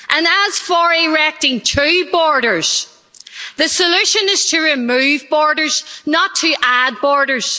And as for erecting two borders, the solution is to remove borders, not to add borders.